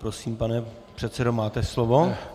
Prosím, pane předsedo, máte slovo.